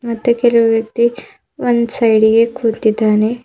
ಮತ್ತೆ ಕೆಲವು ವ್ಯಕ್ತಿ ಒಂದ್ ಸೈಡ್ ಗೆ ಕುಂತಿದ್ದಾನೆ.